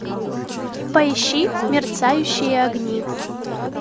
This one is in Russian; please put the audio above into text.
поищи мерцающие огни